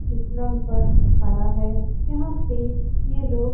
फिसलन पर खड़ा है यहां पे ये लोग --